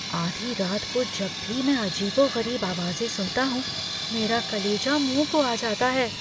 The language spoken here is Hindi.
आधी रात को जब भी मैं अजीबो गरीब आवाज़ें सुनता हूँ, मेरा कलेजा मुँह को आ जाता है।